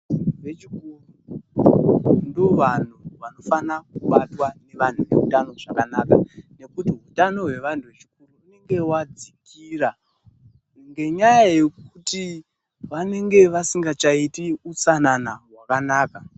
Vechikuru ndovantu vanofana kubatwa ngevantu veutano zvakanaka ngekuti hutano hwevantu vechikuru hunenge wadzikira ngenyaya yekuti vanenge vasingachaiti hutsanana hwakanaka.